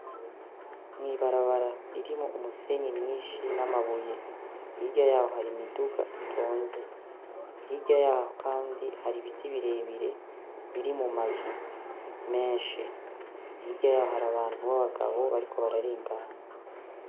Mwibarabara ririmwo umusenyi myinshi n'amabuye hirya yaho hari imiduga itonze ahirya yaho, kandi hari ibiti birebire biri mu mazu menshi ahirya yaho hari abantu b'abagabo bariko bararingamye.